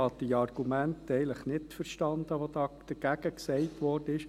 Ich habe die Argumente eigentlich nicht verstanden, die dagegen vorgebracht wurden.